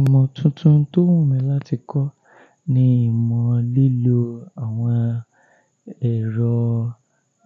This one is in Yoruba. Ìmọ̀ tuntun tó wù mí láti kọ́ ni ìmọ̀ lílo àwọn ẹ̀rọ